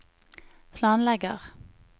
planlegger